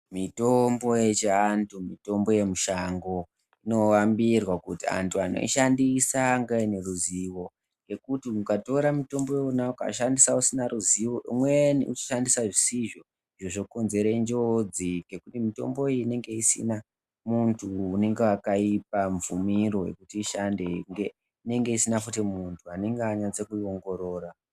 Mitombo yechi antu mitombo ye mushango ino ambirwa kuti antu anoi shandisa ange aine ruzivo ngekuti mukatora mutombo iwona uka shandisa usina ruzivo umweni uchi shandisa zvisizvo zvo konzere njodzi ngekuti mutombo iyi inenge isina muntu unenge akaipa mvumiro yekuti ishande kunge isina futi nuntu anenge anasa kuyi ongorora.